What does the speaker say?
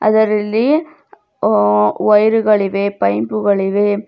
ಇದರಲ್ಲಿ ಆ ವೈರುಗಳಿವೆ ಪೈಪು ಗಳಿವೆ.